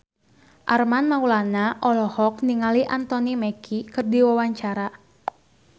Armand Maulana olohok ningali Anthony Mackie keur diwawancara